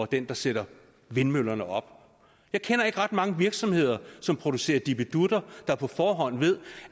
den der sætter vindmøllerne op jeg kender ikke ret mange virksomheder som producerer dippedutter der på forhånd ved